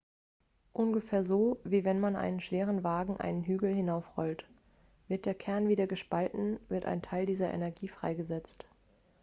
ungefähr so wie wenn man einen schweren wagen einen hügel hinaufrollt wird der kern wieder gespalten wird ein teil dieser energie freigesetzt